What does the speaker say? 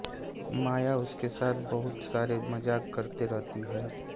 माया उसके साथ बहुत सारे मज़ाक करते रहती है